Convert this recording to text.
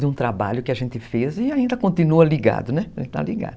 De um trabalho que a gente fez e ainda continua ligado, né? Está ligado.